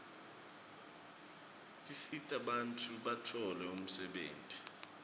tisita bantfu batfole umsebenti